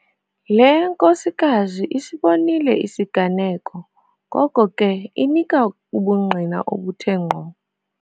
Le nkosikazi isibonile isiganeko ngoko ke inika ubungqina obuthe ngqo.